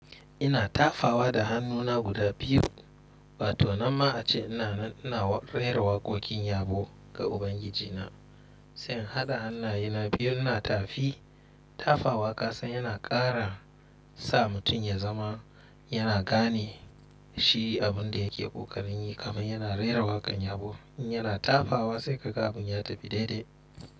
Ina tafawa da hannuna guda biyu, ba to na ma a ce ina rera waƙoƙin yabo ga Ubangiji na. Sai hada hannayena biyun na tafi. Tafawa kasan yana ƙara sa mutum ya zama yana gane shi abin da yake ƙoƙarin yi kuma yana rera waƙan yabo. In yana tafawa sai ka ga abun ya tafi daidai.